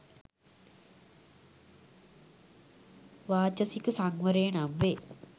වාචසික සංවරය නම් වේ.